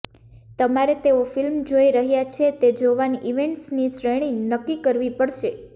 તમારે તેઓ ફિલ્મ જોઈ રહ્યાં છે તે જોવાની ઇવેન્ટ્સની શ્રેણી નક્કી કરવી પડશે